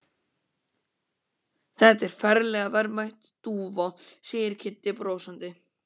Þetta er ferlega verðmæt dúfa segir Kiddi brosandi.